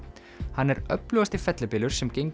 hann er öflugasti fellibylur sem gengið